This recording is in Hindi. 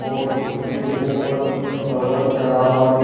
और उसके ऊपर कुछ कवर चढ़ा हुआ दिख --